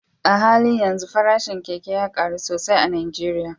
A halin yanzu farashin keke ya karu sosai a Najeriya